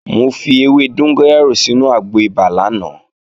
Mo fi ewé dóngóyárò sínu àgbo ibà lánàá